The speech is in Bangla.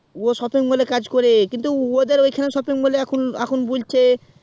ওই shopping mol এ কাজ করে কিন্তু উও ধর ওখানে shopping mol এখন এখন বলছে